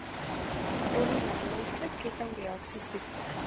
polimerase kettingreaksie toetse